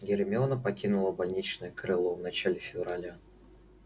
гермиона покинула больничное крыло в начале февраля